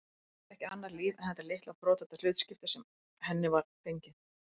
Hún þekkti ekki annað líf en þetta litla brothætta hlutskipti sem henni var fengið.